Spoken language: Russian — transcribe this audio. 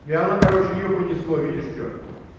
и она короче её понесло видишь что